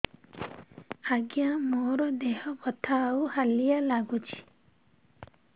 ଆଜ୍ଞା ମୋର ଦେହ ବଥା ଆଉ ହାଲିଆ ଲାଗୁଚି